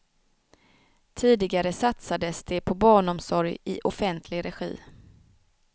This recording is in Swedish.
Tidigare satsades det på barnomsorg i offentlig regi.